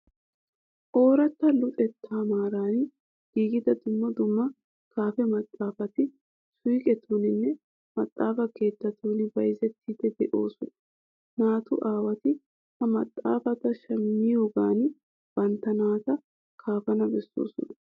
Ooratta luxettaa maaran giigida dumma dumma kaafe maxaafati suuqetuuninne maxaafa keettatun bayzettiiddi de'oosona. Naatu aawati ha maxaafata shammiyogan bantta naata kaafana bessoosona.